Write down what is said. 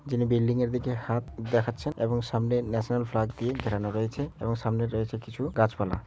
যিনি বিল্ডিং এর দিকে হাত দেখাচ্ছেন এবং সামনে ন্যাশনাল ফ্ল্যাগ দিয়ে ঘেরানো রয়েছে এবং সামনে রয়েছে কিছু গাছপালা।